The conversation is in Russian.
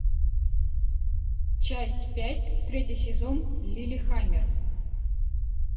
часть пять третий сезон лиллехаммер